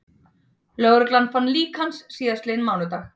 Lögreglan fann lík hans síðastliðinn mánudag